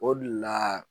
O de la